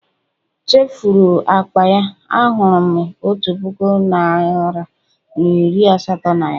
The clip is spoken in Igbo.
chefuru akpa ya, ahụrụ m otu puku naira na iri asatọ na ya